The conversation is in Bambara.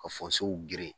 Ka geren